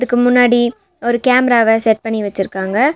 இதுக்கு முன்னாடி ஒரு கேமராவ செட் பண்ணி வச்சிருக்காங்க.